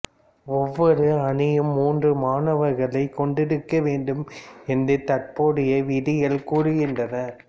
ஒவ்வொரு அணியும் மூன்று மாணவர்களைக் கொண்டிருக்க வேண்டும் என்று தற்போதைய விதிகள் கூறுகின்றன